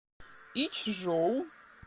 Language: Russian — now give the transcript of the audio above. ичжоу